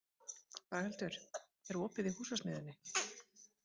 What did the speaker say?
Braghildur, er opið í Húsasmiðjunni?